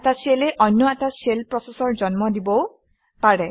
এটা শ্বেলে অন্য এটা শ্বেল প্ৰচেচৰ জন্ম দিবও পাৰে